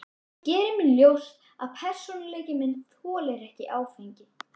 Ég geri mér ljóst að persónuleiki minn þolir ekki áfengi.